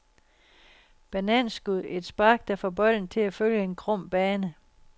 Bananskud, et spark, der får bolden til at følge en krum bane.